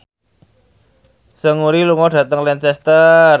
Seungri lunga dhateng Lancaster